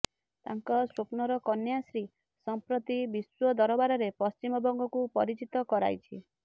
ତାଙ୍କ ସ୍ୱପ୍ନର କନ୍ୟାଶ୍ରୀ ସଂପ୍ରତି ବିଶ୍ୱ ଦରବାରରେ ପଶ୍ଚିମବଙ୍ଗକୁ ପରିଚିତ କରାଇଛି